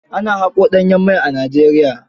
Ana haƙo danyen mai a Nigeria.